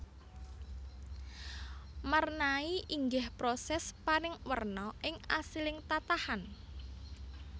Marnai inggih proses paring werna ing asiling tatahan